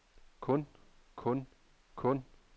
kun kun kun